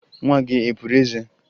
Nwa gị e puru eze?